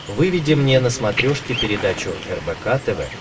выведи мне на смотрешке передачу рбк тв